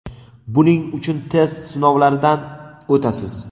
Buning uchun test sinovlaridan o‘tasiz.